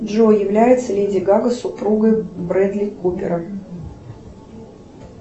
джой является ли леди гага супругой бредли купера